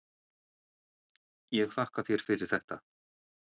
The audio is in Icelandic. Ég þakka þér fyrir þetta.